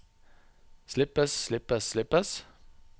slippes slippes slippes